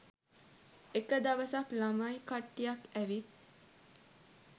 එක දවසක් ළමයි කට්ටියක් ඇවිත්